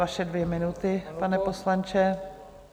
Vaše dvě minuty, pane poslanče.